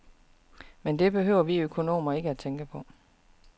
Men det behøver vi økonomer ikke tænke på.